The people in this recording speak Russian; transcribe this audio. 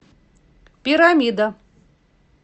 пирамида